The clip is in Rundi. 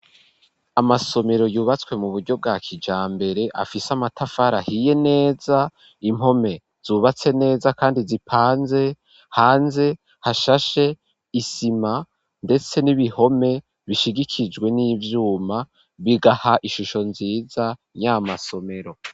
Amasomero yubatswe mu buryo bwa kijambere afise amatafari ahiye neza, impome zubatse neza kandi zipanze, hanze hashashe isima ndetse n'ibihome bishigikijwe n'ivyuma, bigaha ishusho nziza yamasomero.